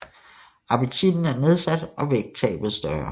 Appetitten er nedsat og vægttabet større